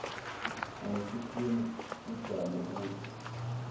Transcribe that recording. ayisikhrimu kujamu uju